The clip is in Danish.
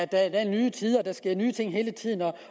der er nye tider og der sker nye ting hele tiden